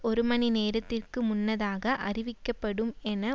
ஒரு மணி நேரத்திற்கு முன்னதாக அறிவிக்கப்படும் என